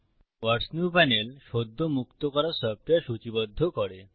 ওয়াটস new panel সদ্য মুক্ত করা সফ্টওয়্যার সূচীবদ্ধ করে